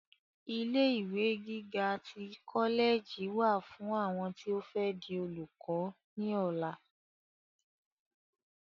Ilé ìwé gíga tí kọlẹẹjì wà fún àwọn tí o fẹ di olùkọ ni ọlá.